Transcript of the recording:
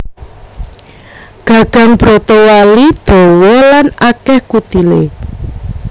Gagang brotowali dawa lan akèh kutilé